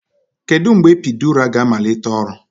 Kedu mgbe epiidura ga-amalite ọrụ?